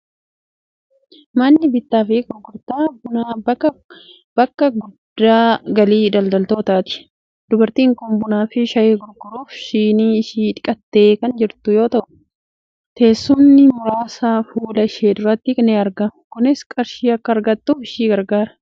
Manni bittaa fi gurgurtaa bunaa bakka madda galii daldaltootaati. Dubartiin kun bunaa fi shayii gurguruuf, shinii ishii dhiqattee kan jirtu yoo ta'u, teessumni muraasa fuula ishee duratti ni argamu. Kunis qarshii akka argattuuf ishii gargaara.